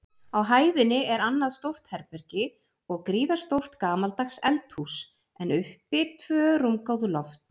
Á hæðinni er annað stórt herbergi og gríðarstórt gamaldags eldhús, en uppi tvö rúmgóð loft.